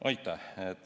Aitäh!